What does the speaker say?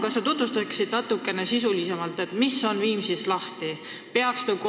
Kas sa tutvustaksid natukene sisulisemalt, mis on Viimsis lahti?